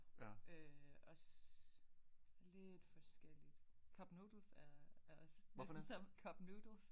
Øh også lidt forskelligt cup noodles er er også næsten som cup noodles